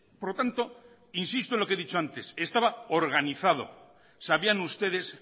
por lo tanto insisto en lo que he dicho antes estaba organizado sabían ustedes